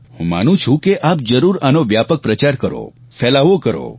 હું માનું છું કે આપ જરૂર આનો વ્યાપક પ્રચાર કરો ફેલાવો કરો